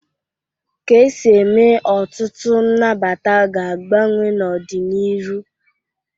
Ka esi eme ọtụtụ nnabata ga-agbanwe n'ọ dị n'iru.